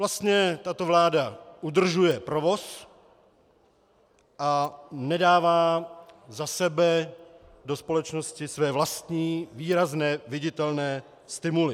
Vlastně tato vláda udržuje provoz a nedává za sebe do společnosti své vlastní výrazné, viditelné stimuly.